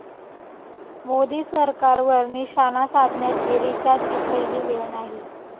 मोदी सरकारवर निशाणा साधण्याची रिचाची पहिली वेळ नाही.